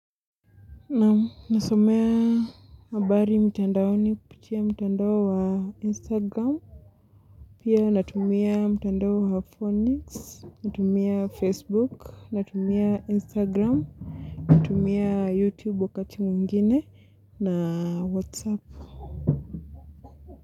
Naam nasomea mabari mtandaoni kupitia mtandao wa instagram pia natumia mtandao wa phoenix natumia facebook natumia instagram natumia youtube wakati mwingine na whatsapp.